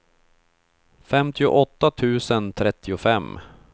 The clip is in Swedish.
femtioåtta tusen trettiofem